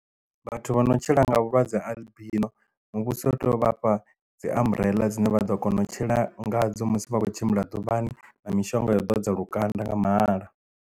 Vhathu vho no tshila nga vhulwadze albino muvhuso u tea u vha fha dzi amburela dzine vha ḓo kona u tshila ngadzo musi vha khou tshimbila ḓuvhani na mishonga yo ḓo dza lukanda nga mahala.